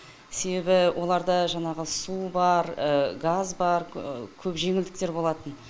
себебі оларда жаңағы су бар газ бар көп жеңілдіктер болатын